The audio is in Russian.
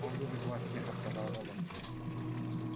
он любит вас тихо сказал робот